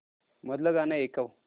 मधलं गाणं ऐकव